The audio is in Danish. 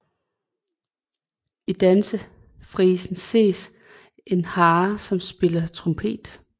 I Dansefrisen ses en hare som spiller trompet